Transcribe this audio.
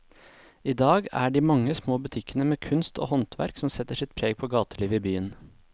I dag er det de mange små butikkene med kunst og håndverk som setter sitt preg på gatelivet i byen.